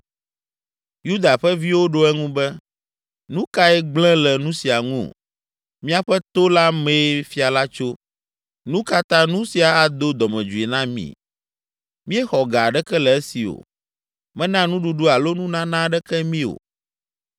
Yuda ƒe viwo ɖo eŋu be, “Nu kae gblẽ le nu sia ŋu? Míaƒe to la mee fia la tso, nu ka ta nu sia ado dɔmedzoe na mi? Míexɔ ga aɖeke le esi o. Mena nuɖuɖu alo nunana aɖeke mí o!”